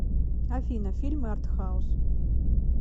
афина фильмы артхаус